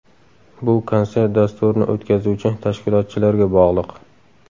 Bu konsert dasturini o‘tkazuvchi tashkilotchilarga bog‘liq.